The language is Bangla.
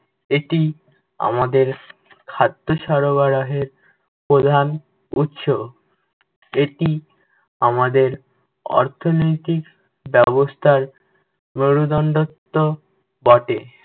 এটি আমাদের খাদ্য সরবরাহের প্রধান উৎস। এটি আমাদের অর্থনৈতিক ব্যবস্থার মেরুদণ্ডত্ব বটে।